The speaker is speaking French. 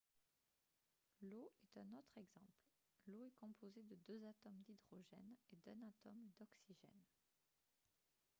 l'eau est un autre exemple l'eau est composée de deux atomes d'hydrogène et d'un atome d'oxygène